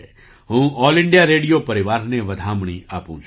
હું all India radio પરિવારને વધામણી આપું છું